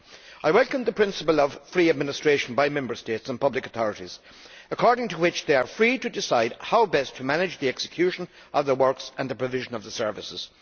I welcome the principle of free administration by the Member States and public authorities, according to which they are free to decide how best to manage the execution of works and the provision of services.